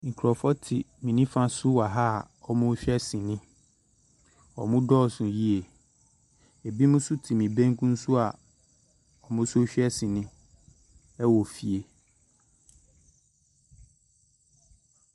Nkrɔfoɔ te me nifa so wɔ ha a wɔrehwɛ sini. Wɔ dɔɔso yiye. Ebinom nso te me benkum so a wɔn so rehwɛ sini wɔ fie.